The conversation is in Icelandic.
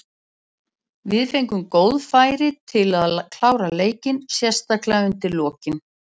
Við fengum góð færi til að klára leikinn, sérstaklega undir lokin.